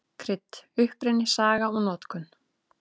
Krydd: Uppruni, saga og notkun.